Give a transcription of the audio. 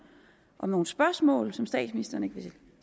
om nogle spørgsmål som statsministeren ikke vil